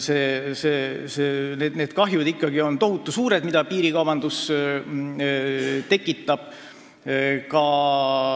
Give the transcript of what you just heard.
See kahju, mida piirikaubandus tekitab, on ikkagi tohutu suur.